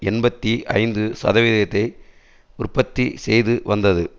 எண்பத்தி ஐந்து சதவிகிதத்தை உற்பத்தி செய்து வந்தது